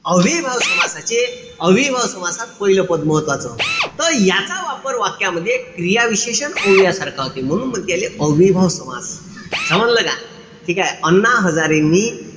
अव्ययीभाव समासाचे, अव्ययीभाव समासात पाहिलं पद महत्वाचं. त याचा वापर वाक्यामध्ये क्रियाविशेषण अव्ययासारखा होते. म्हणून म्हणते याले अव्ययीभाव समास. समजलं का? ठीकेय? अण्णा हजारेंनी,